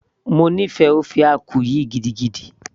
mo nífẹ̀ẹ́ ofe akwu yìí gidigidi